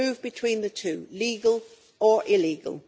move between the two legal or illegal.